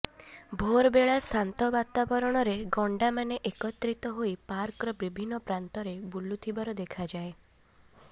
ଭୋରବେଳା ଶାନ୍ତ ବାତାବରଣରେ ଗଣ୍ଡାମାନେ ଏକତ୍ରିତ ହୋଇ ପାର୍କର ବିଭିନ୍ନ ପ୍ରାନ୍ତରେ ବୁଲୁଥିବାର ଦେଖାଯାଏ